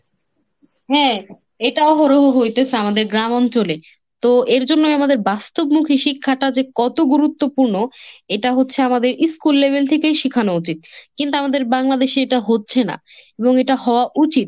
হ্যাঁ এটাও হোরহু হইতেছে আমাদের গ্রাম অঞ্চলে। তো এর জন্যই আমাদের বাস্তবমুখী শিক্ষাটা যে কত গুরুত্বপূর্ণ এটা হচ্ছে আমাদের school level থেকেই শেখানো উচিত। কিন্তু আমাদের বাংলাদেশে এটা হচ্ছে না এবং এটা হওয়া উচিত।